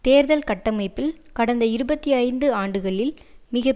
தேர்தல் கட்டமைப்பில் கடந்த இருபத்தி ஐந்து ஆண்டுகளில் மிக